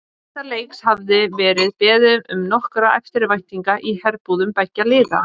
Þessa leiks hafði verið beðið með nokkurri eftirvæntingu í herbúðum beggja liða.